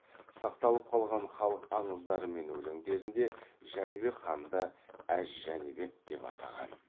сақталып қалған халық аңыздары мен өлеңдерінде жәнібек ханды әз жәнібек деп атаған